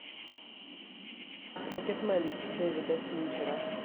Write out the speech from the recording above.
рокетмен дэвида финчера